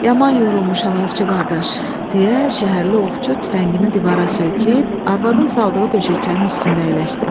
Yaman yorulmuşam ovçu qardaş, deyə şəhərli ovçu tüfəngini divara söykəyib arvadın saldığı döşəçənin üstündə əyləşdi.